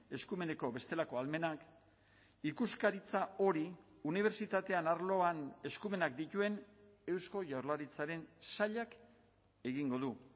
eskumeneko bestelako ahalmenak ikuskaritza hori unibertsitateen arloan eskumenak dituen eusko jaurlaritzaren sailak egingo du